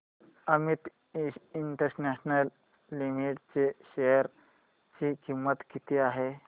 Amit International Limited च्या share ची किंमत किती आहे